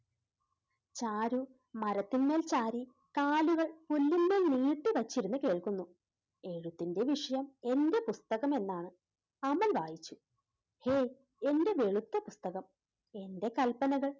ചാരു മരത്തിന്മേൽ ചാരി കാലുകൾ പുല്ലിന്മേൽ നീട്ടിവെച്ചിരുന്നു കേൾക്കുന്നു. എഴുത്തിന്റെ വിഷയം എൻറെ പുസ്തകം എന്നാണ് അമൽ വായിച്ചു. എ~എൻറെ വെളുത്ത പുസ്തകം എൻറെ കല്പനകൾ